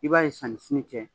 I b'a ye sani sini cɛ